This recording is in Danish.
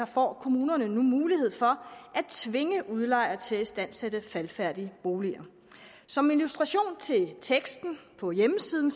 får kommunerne nu mulighed for at tvinge udlejere til at istandsætte faldefærdige boliger som illustration til teksten på hjemmesiden